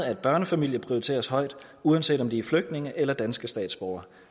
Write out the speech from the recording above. at børnefamilier prioriteres højt uanset om de er flygtninge eller danske statsborgere